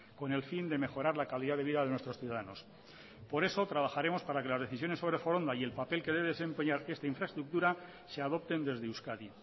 con el fin de mejorar la calidad de vida de nuestros ciudadanos por eso trabajaremos para que las decisiones sobre foronda y el papel que debe desempeñar esta infraestructura se adopten desde euskadi